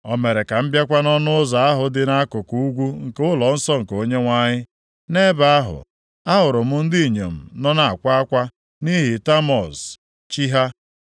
O mere ka m bịakwa nʼọnụ ụzọ ahụ dị nʼakụkụ ugwu nke ụlọnsọ nke Onyenwe anyị. Nʼebe ahụ, ahụrụ m ndị inyom nọ na-akwa akwa nʼihi Tamuz, chi ha.